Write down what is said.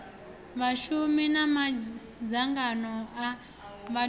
vhashumi na madzangano a vhatholi